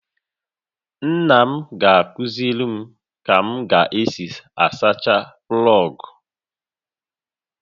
Nna m ga-akụziri m ka m ga-esi asacha plọogụ